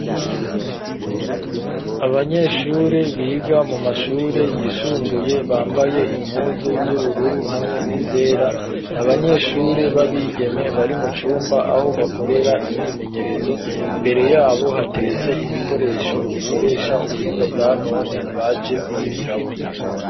Abanyeshure biga mu mashure yisumbuye bambaye impuzu z'ubururu hamwe n'izera n'abanyeshure b'abigeme bari mu cumba aho bakorera imyimenyerezo imbere yabo hateretse ibikoresho bikoresha ubuhinga bwa none baje kwigirako.